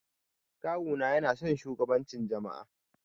Kawu na yana son shugabancin jama'a.